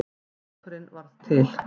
Leikurinn varð til.